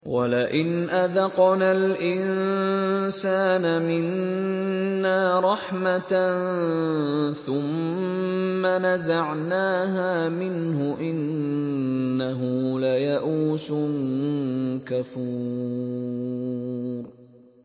وَلَئِنْ أَذَقْنَا الْإِنسَانَ مِنَّا رَحْمَةً ثُمَّ نَزَعْنَاهَا مِنْهُ إِنَّهُ لَيَئُوسٌ كَفُورٌ